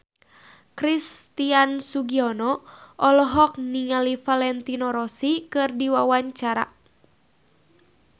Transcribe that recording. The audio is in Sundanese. Christian Sugiono olohok ningali Valentino Rossi keur diwawancara